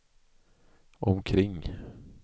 omkring